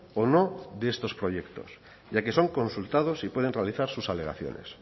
o no de estos proyectos ya que son consultados y pueden realizar sus alegaciones